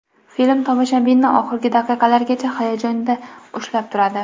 Film tomoshabinni oxirgi daqiqalargacha hayajonda ushlab turadi.